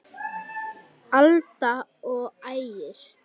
Alda og Ægir.